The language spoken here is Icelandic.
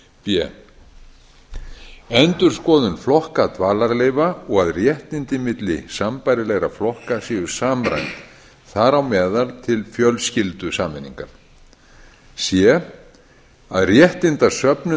b endurskoðun flokka dvalarleyfa og að réttindi milli sambærilegra flokka séu samræmd þar á meðal til fjölskyldusameiningar c að réttindasöfnun